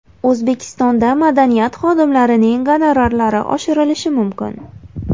O‘zbekistonda madaniyat xodimlarining gonorarlari oshirilishi mumkin.